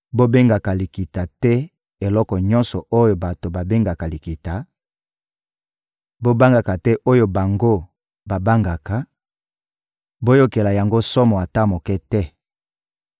«Bobengaka likita te eloko nyonso oyo bato babengaka likita; bobangaka te oyo bango babangaka, boyokela yango somo ata moke te.